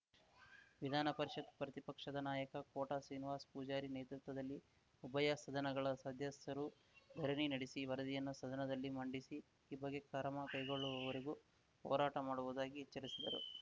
ವಿಧಾನ ಪರಿಷತ್‌ ಪ್ರತಿಪಕ್ಷದ ನಾಯಕ ಕೋಟ ಶ್ರೀನಿವಾಸ್ ಪೂಜಾರಿ ನೇತೃತ್ವದಲ್ಲಿ ಉಭಯ ಸದನಗಳ ಸದಸ್ಯರು ಧರಣಿ ನಡೆಸಿ ವರದಿಯನ್ನು ಸದನದಲ್ಲಿ ಮಂಡಿಸಿ ಈ ಬಗ್ಗೆ ಕ್ರಮ ಕೈಗೊಳ್ಳುವವರೆಗೂ ಹೋರಾಟ ಮಾಡುವುದಾಗಿ ಎಚ್ಚರಿಸಿದರು